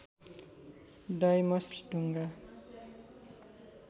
Deimos ढुङ्गा